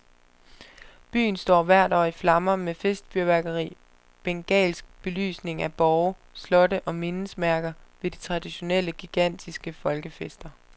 Byen står hvert år i flammer med festfyrværkeri, bengalsk belysning af borge, slotte og mindesmærker ved de traditionelle, gigantiske folkefester.